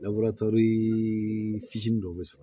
fitinin dɔ bɛ sɔrɔ